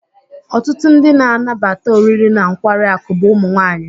Ọtụtụ ndị na-anabata oriri na nkwari akụ bụ ụmụ nwanyị.